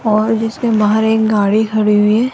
और जिसके बाहर एक गाड़ी खड़ी हुई--